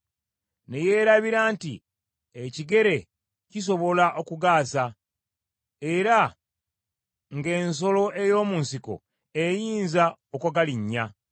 ne yeerabira nti, ekigere kisobola okugaasa, era nga ensolo ey’omu nsiko eyinza okugalinnya.